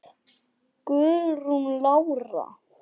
Guðrún Lára.